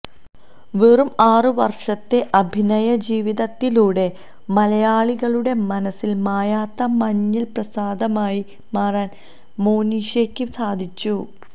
വെറും ആറ് വര്ഷത്തെ അഭിനയജീവിതത്തിലൂടെ മലയാളികളുടെ മനസില് മായാത്ത മഞ്ഞള്പ്രസാദമായി മാറാൻ മോനിഷയ്ക്ക് സാധിച്ചു